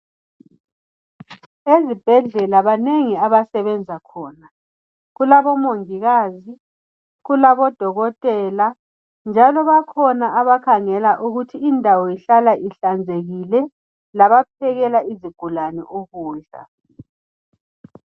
ezibhedlela banengi abasebenza khona kulabo mongikazi kulabo dokotela njalo bakhona abakhangela ukuthi indawo ihlala ihlanzekile labaphekela izigulane ukudla